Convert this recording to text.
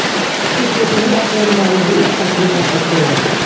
ਫਿਰ ਛੇਤੀ ਹੀ ਆਪਣੇ ਅਲਮਾਰੀ ਦੇ ਇਸ ਤੱਤ ਨੂੰ ਪ੍ਰਾਪਤ ਕਰੋ